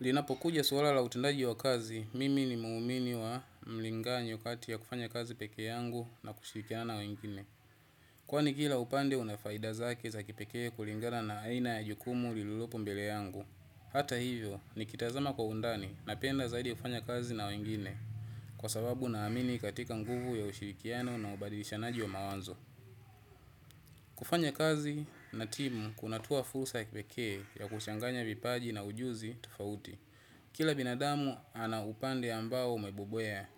Linapokuja suala la utendaji wa kazi, mimi ni muumini wa mlinganyo kati ya kufanya kazi peke yangu na kushirikiana na wengine. Kwani kila upande unafaida zake za kipekee kulingana na aina ya jukumu lililopo mbele yangu. Hata hivyo, nikitazama kwa undani napenda zaidi kufanya kazi na wengine. Kwa sababu naamini katika nguvu ya ushirikiano na ubadilishanaji wa mawazo. Kufanya kazi na timu kunatoa fursa ya kipekee ya kuchanganya vipaji na ujuzi tofauti. Kila binadamu ana upande ambao amebobea.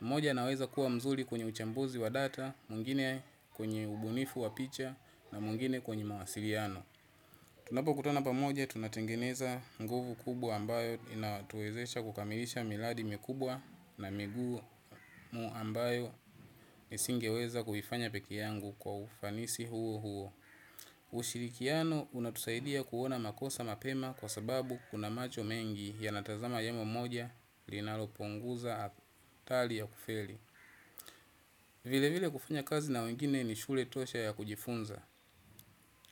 Moja anaweza kuwa mzuri kwenye uchambuzi wa data, mwingine kwenye ubunifu wa picha, na mwingine kwenye mawasiliano. Tunapokutana pamoja, tunatengeneza nguvu kubwa ambayo inatuwezesha kukamilisha miradi mikubwa na migumu ambayo nisingeweza kufanya peke yangu kwa ufanisi huo huo. Ushirikiano unatusaidia kuona makosa mapema kwa sababu kuna macho mengi yanatazama yamo moja linalopunguza athari ya kufeli. Vile vile kufanya kazi na wengine ni shule tosha ya kujifunza.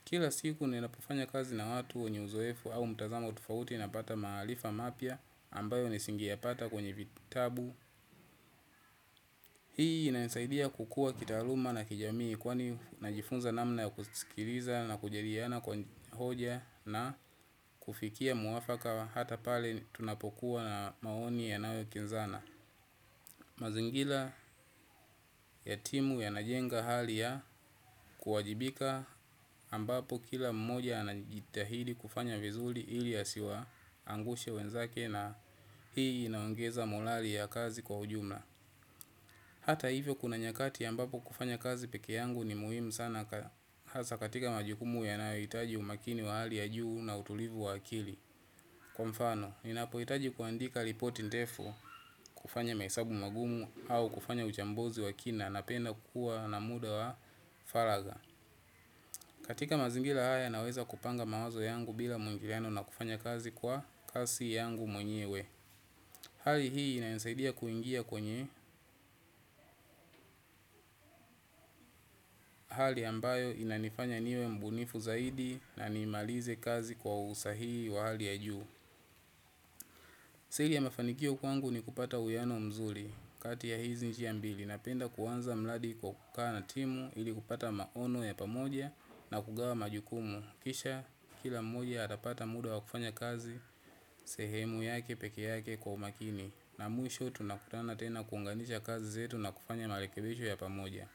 Kila siku ni napofanya kazi na watu wenye uzoefu au mtazama utofauti napata maharifa mapya ambayo nisinge ya pata kwenye vitabu. Hii inanisaidia kukua kitaaluma na kijamii kwani najifunza namna ya kusikiliza na kujaliana kwa hoja na kufikia mwafaka hata pale tunapokuwa na maoni yanayokinzana. Mazingira ya timu yanajenga hali ya kuwajibika ambapo kila mmoja anajitahidi kufanya vizuri ili ya asiwaangushe wenzake na hii inaongeza morali ya kazi kwa ujumla. Hata hivyo kuna nyakati ambapo kufanya kazi peke yangu ni muhimu sana hasa katika majukumu yanayohitaji umakini wa hali ya juu na utulivu wa akili. Kwa mfano, ninapohitaji kuandika ripoti ndefu, kufanya mahesabu magumu au kufanya uchambuzi wa kina napenda kuwa na muda wa faragha. Katika mazingira haya naweza kupanga mawazo yangu bila mwingiliano na kufanya kazi kwa kasi yangu mwenyewe. Hali hii inanisaidia kuingia kwenye hali ambayo inanifanya niwe mbunifu zaidi na nimalize kazi kwa usahihi wa hali ya juu. Siri ya mafanikio kwangu ni kupata uwiano mzuri. Katia ya hizi njia mbili napenda kuanza mradi kwa kukaa na timu ili kupata maono ya pamoja na kugawa majukumu. Kisha kila mmoja atapata muda wa kufanya kazi sehemu yake peke yake kwa umakini. Na mwisho tunakutana tena kuunganisha kazi zetu na kufanya marekebisho ya pamoja.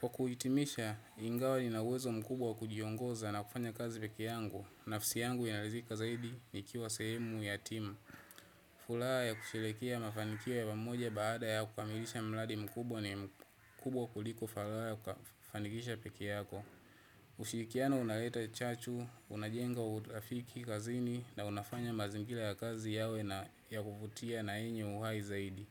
Kwa kujitimisha, ingawa ninauwezo mkubwa wa kujiongoza na kufanya kazi peki yangu. Nafsi yangu inaridhika zaidi nikiwa sehemu ya timu. Furaha ya kusherehekea mafanikio ya pamoja baada ya kukamilisha mradi mkubwa ni kubwa kuliko furaha ya kufanikisha peke yako. Kushirikiana unaleta chachu, unajenga urafiki kazini na unafanya mazingira ya kazi kuvutia na yenye uhai zaidi.